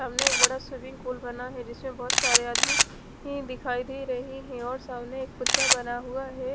सामने एक बड़ा स्विमिंग पूल पूल बना है जिसमें बहोत सारे आदमी ही दिखाई दे रहे है और सामने एक बना हुआ है।